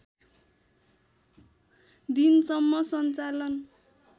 दिनसम्म सञ्चालन